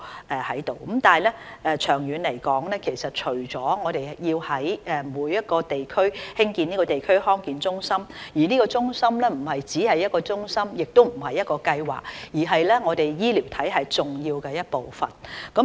但是，長遠而言，除了我們要在每一區興建地區康健中心，該中心亦不僅是一個中心，也不僅是一個計劃，而是我們醫療體系重要的一部分。